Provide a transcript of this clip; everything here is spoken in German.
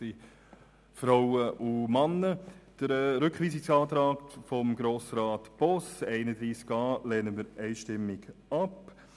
Wir lehnen den Rückweisungsantrag Boss zu Artikel 31a einstimmig ab.